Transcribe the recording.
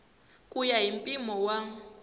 ku ya hi mpimo wa